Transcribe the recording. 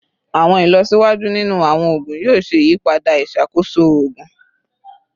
Awọn ilọsiwaju ninu awọn oogun yoo ṣe iyipada iṣakoso oogun